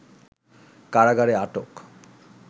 কারাগারে আটক